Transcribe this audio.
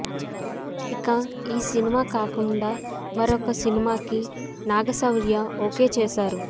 ఇక ఈ సినిమా కాకుండా మరొక సినిమా కి నాగ శౌర్య ఓకే చేసారు